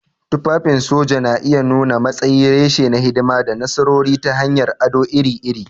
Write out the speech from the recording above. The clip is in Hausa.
Tufafin soja na iya nuna matsayi, reshe na hidima, da nasarori ta hanyar ado iri-iri.